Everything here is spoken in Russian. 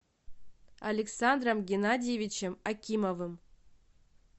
александром геннадьевичем акимовым